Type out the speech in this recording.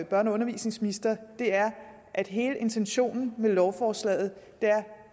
børne og undervisningsminister er at hele intentionen med lovforslaget